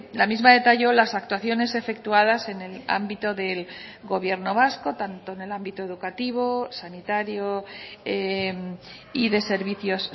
la misma detalló las actuaciones efectuadas en el ámbito del gobierno vasco tanto en el ámbito educativo sanitario y de servicios